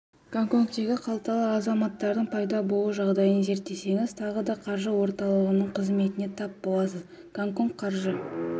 гонконгтегі қалталы азаматтардың пайда болу жағдайын зерттесеңіз тағы да қаржы орталығының қызметіне тап боласыз гонконг қаржы